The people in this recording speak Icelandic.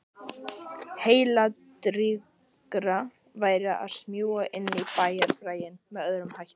Heilladrýgra væri að smjúga inn í bæjarbraginn með öðrum hætti.